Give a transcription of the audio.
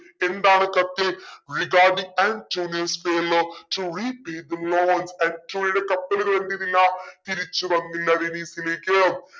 എന്താണ് കത്ത്. regarding antonio's failure to repay the loan ആന്റോണിയോടെ കപ്പലുകൾ എന്തെയ്തില്ല തിരിച്ചു വന്നില്ല വെനീസിലേക്ക്